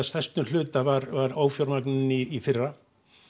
mestum hluta var var ófjármagnað í fyrra